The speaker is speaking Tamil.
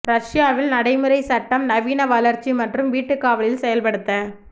ரஷ்யாவில் நடைமுறை சட்டம் நவீன வளர்ச்சி மற்றும் வீட்டுக் காவலில் செயல்படுத்த